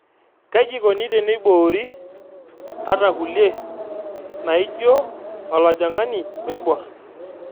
Kaji eikoni teneiboori ata kulie naaijio olojung'ani oiborr.